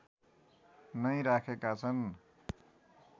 नै राखेका छन्